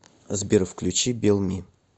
сбер включи бел ми